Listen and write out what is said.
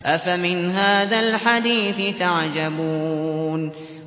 أَفَمِنْ هَٰذَا الْحَدِيثِ تَعْجَبُونَ